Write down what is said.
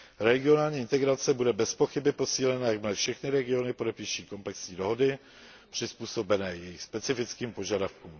Regionální integrace bude bezpochyby posílena, jakmile všechny regiony podepíší komplexní dohody přizpůsobené jejich specifickým požadavkům.